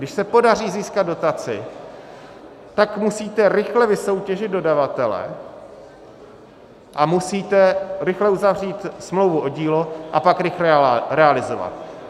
Když se podaří získat dotaci, tak musíte rychle vysoutěžit dodavatele a musíte rychle uzavřít smlouvu o dílo a pak rychle realizovat.